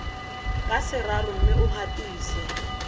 ka seraro mme o gatise